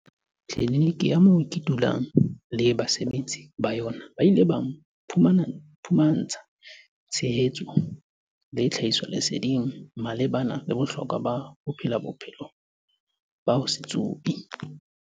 "Tliniki ya moo ke dulang teng le basebetsi ba yona ba ile ba mphumantsha tshehetso le tlhahisoleseding malebana le bohlokwa ba ho phela bophelo ba ho se tsube."